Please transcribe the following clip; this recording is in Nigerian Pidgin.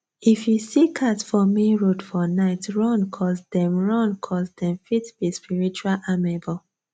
if you see cat for main road for night run coz dem run coz dem fit be spiritual amebor